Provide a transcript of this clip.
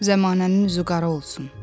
Zəmanənin üzü qara olsun.